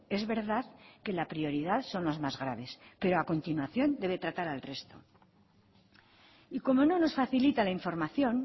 es verdad que la prioridad son los más graves pero a continuación debe tratar al resto y como no nos facilita la información